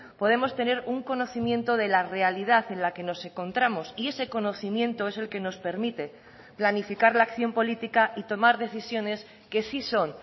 podemos tener un conocimiento de la realidad en la que nos encontramos y ese conocimiento es el que nos permite planificar la acción política y tomar decisiones que sí son